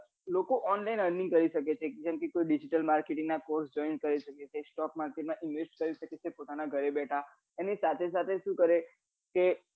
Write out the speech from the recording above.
લોકો online earning કરી શકે છે જેમકે કોઈ digital marketing ના course કરી શકે છે stock market માં invest કરી શકે છે પોતાના ઘરે બેઠા એની સાથે સાથે શું કરે કે